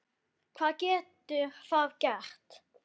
Hvað getur það gert?